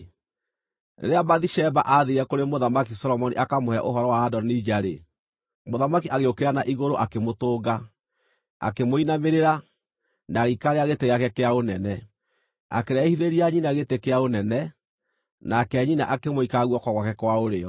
Rĩrĩa Bathisheba aathiire kũrĩ Mũthamaki Solomoni akamũhe ũhoro wa Adonija-rĩ, mũthamaki agĩũkĩra na igũrũ akĩmũtũnga, akĩmũinamĩrĩra, na agĩikarĩra gĩtĩ gĩake kĩa ũnene. Akĩrehithĩria nyina gĩtĩ kĩa ũnene, nake nyina akĩmũikara guoko gwake kwa ũrĩo.